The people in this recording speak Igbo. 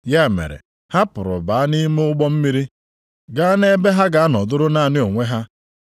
Ya mere ha pụrụ baa nʼime ụgbọ mmiri gaa nʼebe ha ga-anọdụrụ naanị onwe ha.